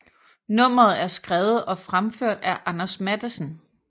Nummeret er skrevet og fremført af Anders Matthesen